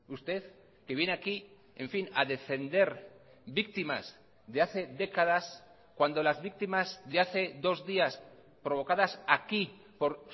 usted que viene aquí en fin a defender víctimas de hace décadas cuando las víctimas de hace dos días provocadas aquí por